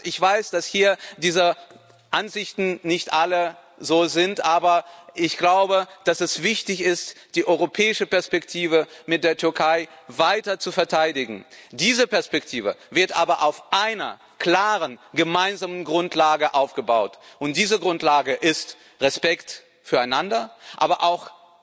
Ich weiß, dass hier nicht alle dieser Ansicht sind, aber ich glaube, dass es wichtig ist, die europäische Perspektive mit der Türkei weiter zu verteidigen. Diese Perspektive wird aber auf einer klaren gemeinsamen Grundlage aufgebaut, und diese Grundlage ist Respekt füreinander, aber auch